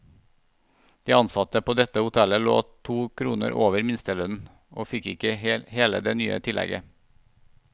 De ansatte på dette hotellet lå to kroner over minstelønnen, og fikk ikke hele det nye tillegget.